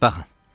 Baxın.